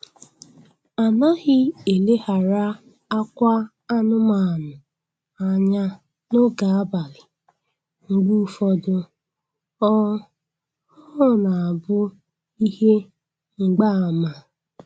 Anaghị eleghara akwa anụmanụ anya n'oge abalị, mgbe ụfọdụ ọ ọ na-abụ ihe mgba ama